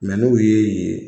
Mɛ n'o y'e ye